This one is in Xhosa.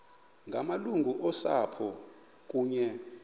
ngamalungu osapho kunye